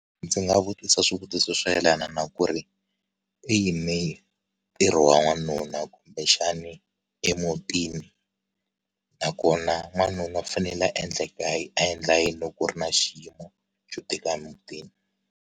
Ndzi nga vutisa swivutiso swo yelana na ku ri u yime ntirho wa n'wanuna kumbexani emutini nakona wanuna u fanele a endla ekaya a endla yini loko ku ri na xiyimo xo tika emutini.